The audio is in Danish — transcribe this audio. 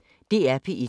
DR P1